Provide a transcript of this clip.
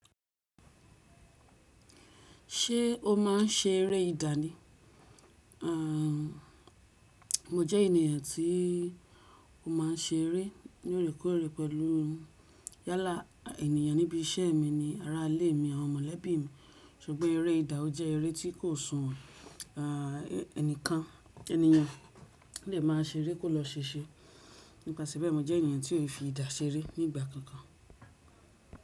Ṣé o máa ń ṣe eré ìdá ni? À, mo jẹ́ ènìyàn tí ó máa ń ṣe eré ní orekórè pẹ̀lú yálà ènìyàn níbi iṣẹ́ mi ni ara ilé mi àwọn mọ̀lẹ́bí mi. Ṣùgbọ́n eré ìdá jẹ́ eré tí kò sùnwon, à, ẹnìkan ènìyàn lè máa ṣe eré kó lọ ṣese. Nípasẹ̀ bẹ́ẹ̀, mo jẹ́ ènìyàn tí ò fi ìdá ṣe eré nígbà kankan.